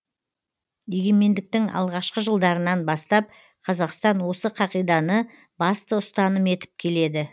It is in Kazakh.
егемендіктің алғашқы жылдарынан бастап қазақстан осы қағиданы басты ұстаным етіп келеді